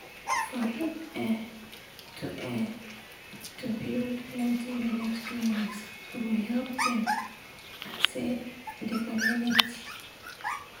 for real[um]to[um]to build plenti village clinics go help dem i say de communitiy